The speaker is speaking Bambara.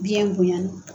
Biyɛn bonyana